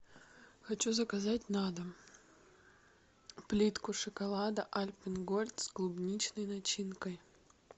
хочу заказать на дом плитку шоколада альпен гольд с клубничной начинкой